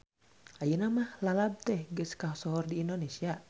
Ayeuna mah lalab teh geus kasohor di Indonesia.